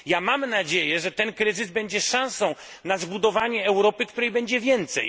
Mam nadzieję, że ten kryzys będzie szansą na zbudowanie Europy, której będzie więcej.